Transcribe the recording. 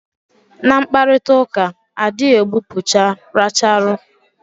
Na mkparitauka, a dị gbupucha racharu